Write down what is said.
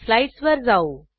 स्लाईडसवर जाऊ